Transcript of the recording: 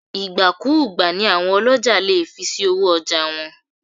Ìgbà-kú-ùgbà ni àwọn ọlọ́jà lè fi sí owó ọjà wọn.